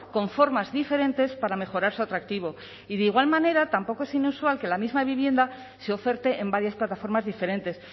con formas diferentes para mejorar su atractivo y de igual manera tampoco es inusual que la misma vivienda se oferte en varias plataformas diferentes